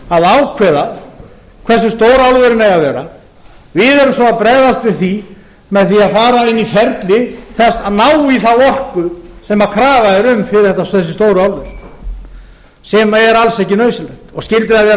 að ákveða hversu stór álverin eigi að vera við erum svo að bregðast við því með að fara inn í ferli þess að ná í þá orku sem krafa er um fyrir þessi stóru álver sem er alls ekki nauðsynlegt skyldi það vera